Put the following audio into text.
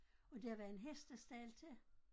Og der var en hestestald til